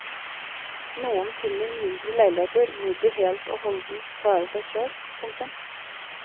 Noen finner mindre leiligheter hvor de helt og holdent klarer seg selv. punktum